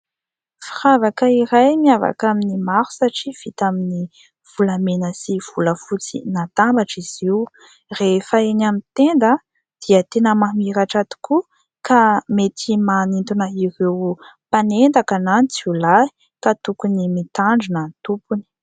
Firavaka iray miavaka amin'ny maro satria vita amin'ny volamena sy volafotsy natambatra izy io ; rehefa eny amin'ny tenda dia tena mamiratra tokoa ka mety manintona ireo mpanendaka na ny jiolahy ka tokony mitandrina ny tompony.